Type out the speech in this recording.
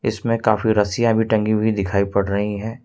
इसमें में काफी रसियां भी टंगी हुई दिखाई पड़ रही है।